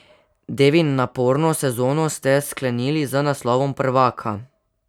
Devin, naporno sezono ste sklenili z naslovom prvaka.